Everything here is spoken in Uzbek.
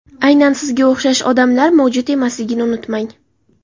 Aynan sizga o‘xshash odamlar mavjud emasligini unutmang.